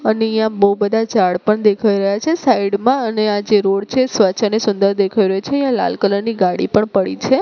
અને અહીંયા બો બધા ઝાડ પણ દેખાય રહ્યા છે સાઇડ માં અને આ જે રોડ છે સ્વચ્છ અને સુંદર દેખાય રહ્યો છે અહીંયા લાલ કલર ની ગાડી પણ પડી છે.